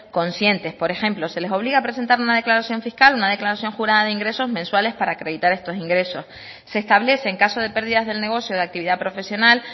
conscientes por ejemplo se les obliga a presentar una declaración fiscal una declaración jurada de ingresos mensuales para acreditar estos ingresos se establece en caso de pérdidas del negocio de actividad profesional